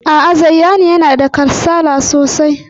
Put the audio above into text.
A'a, Zayyanu yana da kasala sosai.